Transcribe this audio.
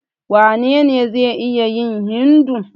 Wanene zai iya yin Hindu?